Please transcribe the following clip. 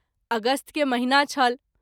अगस्त के महिना छल।